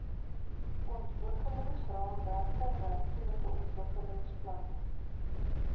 ontwikkelingsraamwerke ruimtelike ontwikkelingsplanne